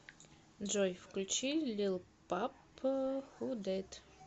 джой включи лил памп ху дэт